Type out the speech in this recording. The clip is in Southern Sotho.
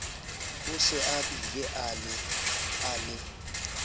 o se abile a le